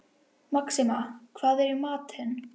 Maxima, hvað er í matinn?